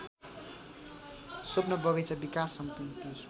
स्वप्न बगैंचा विकास समिति